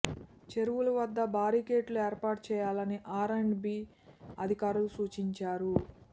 చెరువుల వద్ద బారికేడ్లు ఏర్పాటు చేయాలని ఆర్ అండ్ బీ అధికారులకు సూచించారు